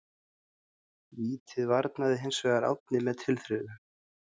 Vítið varði hinsvegar Árni með tilþrifum.